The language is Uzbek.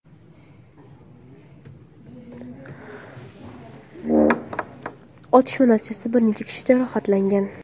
Otishma natijasida bir necha kishi jarohatlangan.